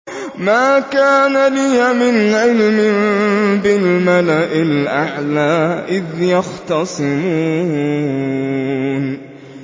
مَا كَانَ لِيَ مِنْ عِلْمٍ بِالْمَلَإِ الْأَعْلَىٰ إِذْ يَخْتَصِمُونَ